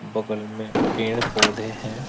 बगल में पेड़ पौधे है।